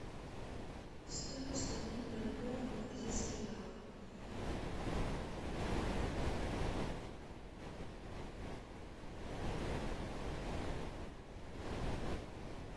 стоимость обмена бальбоа на бразильские реалы